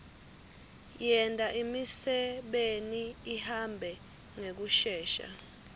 yenta imisebeni ihambe ngekushesha